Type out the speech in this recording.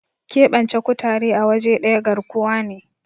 keɓance kutare a waje daya garkuwa ne